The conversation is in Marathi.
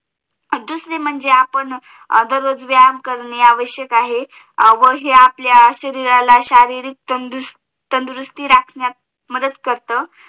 दुसरे म्हणजे आपण दररोज व्यायाम करणे आवश्यक आहे वरून हे आपल्या शरीराला शारीरिक तंदुरुस्ती राखण्यात मदत करत